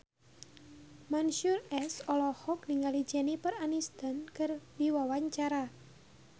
Mansyur S olohok ningali Jennifer Aniston keur diwawancara